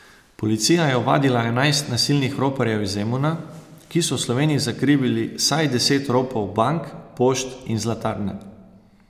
Policija je ovadila enajst nasilnih roparjev iz Zemuna, ki so v Sloveniji zakrivili vsaj deset ropov bank, pošt in zlatarne.